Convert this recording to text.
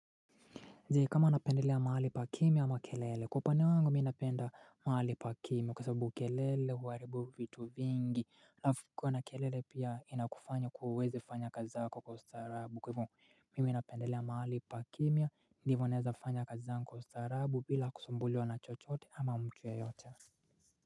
Je, kama napendelea mahali pa kimya ama kelele. Kwa upande wangu mi napenda mahali pa kimya kwa sababu kelele huaribu vitu vingi alafu kuwa na kelele pia inakufanya kuwa huwezi fanya kazi zako kwa ustaarabu kwa hivo mimi napendelea mahali pa kimya ndivyo naeza fanya kazi zangu kwa ustaarabu bila kusumbuliwa na chochote ama mtu yeyote.